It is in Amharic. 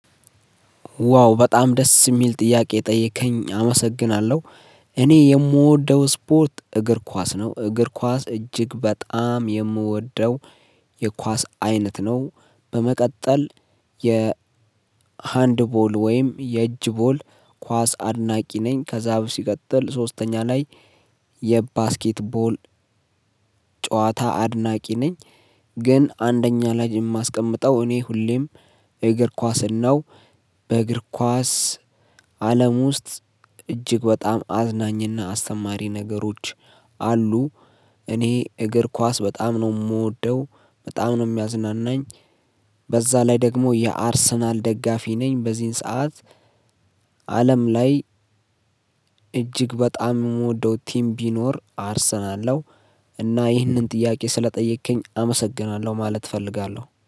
ዋው በጣም ደስ የሚል ጥያቄ ጠየከኝ አመሰግናለሁ። እኔ የምወደው ስፖርት እግር ኳስ ነው እግር ኳስ እጅግ በጣም የምወደው የኳስ አይነት ነው። በመቀጠል የ ሃንድቦል ወይም የእጅ ቦል ኳስ አድናቂ ነኝ። ከዛ በፊት ሲቀጥል ሶስተኛ ላይ የባስኬትቦል ጨዋታ አድናቂ ነኝ። ግን አንደኛ ላይ የማስቀምጠው እኔ ሁሌም እግር ኳስን ነው በእግር ኳስ አለም ውስጥ እጅግ በጣም አዝናኝና አስተማሪ ነገሮች አሉ። እኔ እግር ኳስ በጣም ነው የምወደው በጣም ነው የሚያዝናናኝ። በዛ ላይ ደግሞ የአርሰናል ደጋፊ ነኝ በዚህን ሰዓት አለም ላይ በጣም የምወደው ቲም ቢኖር አርሰናል ነው። እና ይህንን ጥያቄ ስለጠየከኝ አመሰግናለሁ ማለት እፈልጋለሁ